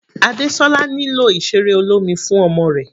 Adesola nílò ìseré olómi fún ọmọ rẹ̀.